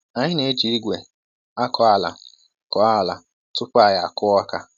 Anyị na-eji ìgwè akọ ala kọọ ala tupu anyị akụ ọka.